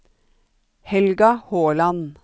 Helga Håland